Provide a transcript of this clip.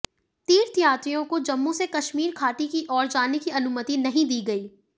तीर्थयात्रियों को जम्मू से कश्मीर घाटी की ओर जाने की अनुमति नहीं दी गई